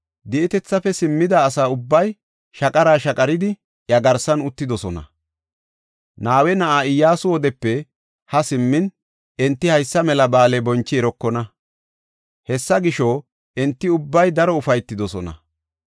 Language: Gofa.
Di7etethafe simmida asa ubbay shaqara shaqaridi iya garsan uttidosona. Nawe na7aa Iyyasu wodepe haa simmin enti haysa mela ba7aale bonchi erokona. Hessa gisho, enti ubbay daro ufaytidosona.